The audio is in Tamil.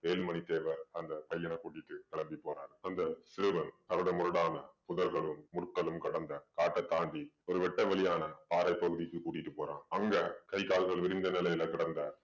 வேலுமணி தேவர் அந்த பையன கூட்டிட்டு கிளம்பி போறாரு அந்த சிறுவன் கரடு முரடான புதர்களும் முற்களும் கடந்த காட்டை தாண்டி ஒரு வெட்டவெளியான பாறை பகுதிக்கு கூட்டிட்டு போறான் அங்க கை கால்கள் விரிந்த நிலையில கிடந்த